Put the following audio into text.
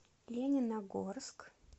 лениногорск